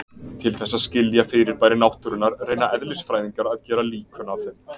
Til þess að skilja fyrirbæri náttúrunnar reyna eðlisfræðingar að gera líkön af þeim.